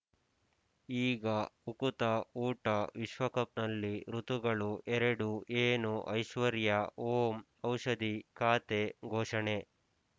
ಈಗ ಉಕುತ ಊಟ ವಿಶ್ವಕಪ್‌ನಲ್ಲಿ ಋತುಗಳು ಎರಡು ಏನು ಐಶ್ವರ್ಯಾ ಓಂ ಔಷಧಿ ಖಾತೆ ಘೋಷಣೆ